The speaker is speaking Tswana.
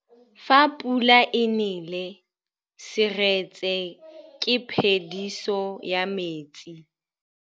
Fa pula e nelê serêtsê ke phêdisô ya metsi.